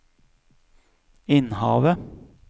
Innhavet